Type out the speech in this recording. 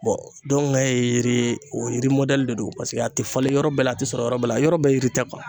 Bɔngɛ ye yiri o yiri mɔdɛli de don paseke a te falen yɔrɔ bɛɛ la a te sɔrɔ yɔrɔ bɛɛ la yɔrɔ bɛɛ yiri tɛ kuwa